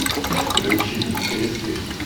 включи кресты